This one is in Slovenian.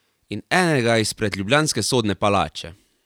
In enega izpred ljubljanske sodne palače.